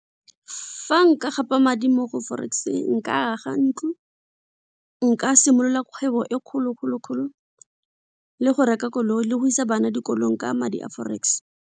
Fa nka gapa madi mo go forex nka aga ntlo, nka simolola kgwebo e kgolo kgolo kgolo le go reka koloi le go isa bana dikolong ka madi a forex.